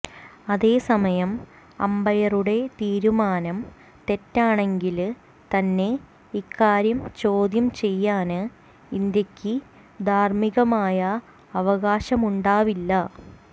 അതേസമയം അമ്പയറുടെ തീരുമാനം തെറ്റാണെങ്കില് തന്നെ ഇക്കാര്യം ചോദ്യം ചെയ്യാന് ഇന്ത്യക്ക് ധാര്മ്മികമായ അവകാശമുണ്ടാവില്ല